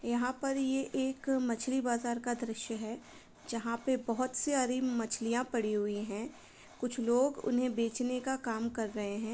यहाँ पर ये एक मछली बाजार का द्रश्य है। जहाँ पे बहुत सारी मछलियाँ पड़ी हुई हैं कुछ लोग उन्हें बेचने का काम कर रहे है।